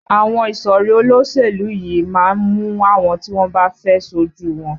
Àwọn ìsọ̀rí olóṣèlú yìí má ń mú àwọn tí wọ́n bá fẹ́ ṣojú u wọn